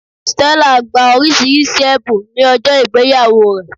Stella gba oríṣiríṣi èbùn ní ọjó ìgbéyàwó rẹ̀